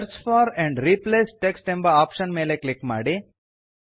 search for and replace text ಎಂಬ option ಮೇಲೆ click ಮಾಡಿ